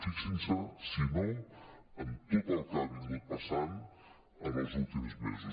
fixin se si no en tot el que ha passat en els últims mesos